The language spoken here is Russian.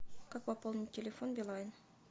как пополнить телефон билайн